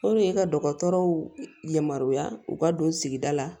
i ka dɔgɔtɔrɔw yamaruya u ka don sigida la